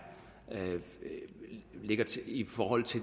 i det